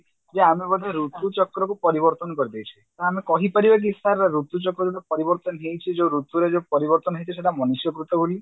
ଯେ ଆମେ ବୋଧେ ଋତୁଚକ୍ରକୁ ପରିବର୍ତନ କରିଦେଇଛେ ତ ଆମେ କହିପାରିବା କି sir ଋତୁଚକ୍ରର ପରିବର୍ତନ ହେଇଛି ଯଉ ଋତୁର ଯଉ ପରିବର୍ତନ ହେଇଛି ସେଟା ମନୁଷ୍ୟକୃତ ବୋଲି